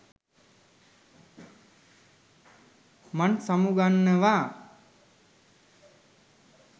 මං සමුගන්නවා